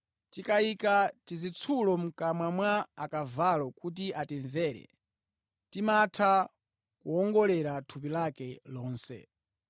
Tikayika tizitsulo mʼkamwa mwa akavalo kuti atimvere, timatha kuwongolera thupi lake lonse.